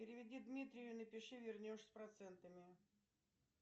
переведи дмитрию и напиши вернешь с процентами